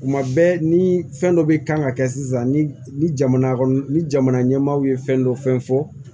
Tuma bɛɛ ni fɛn dɔ bɛ kan ka kɛ sisan ni jamana kɔni ni jamana ɲɛmaaw ye fɛn dɔ fɛn fɔ